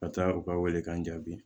Ka taa u ka welekan jaabi